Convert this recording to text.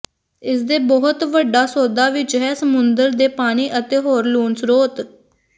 ਇਸ ਦੇ ਬਹੁਤ ਵੱਡਾ ਸੌਦਾ ਵਿੱਚ ਹੈ ਸਮੁੰਦਰ ਦੇ ਪਾਣੀ ਅਤੇ ਹੋਰ ਲੂਣ ਸਰੋਤ